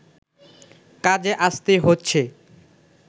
কাজে আসতেই হচ্ছে